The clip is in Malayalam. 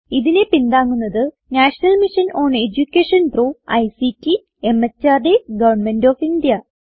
ഇതിനെ പിന്താങ്ങുന്നത് national mission on education through ICT MHRD government of India